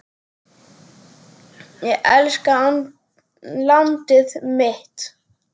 Ég elska landið mitt.